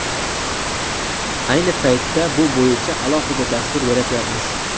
Ayni paytda bu bo‘yicha alohida dastur yaratyapmiz.